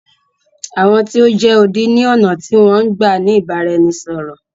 Àwọn tí o jẹ́ odi ni ọ̀nà tí wọn n gbá ni ìbáraẹnisọ̀rọ̀.